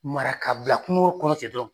Mara ka bila kungo kɔnɔ ten dɔrɔn.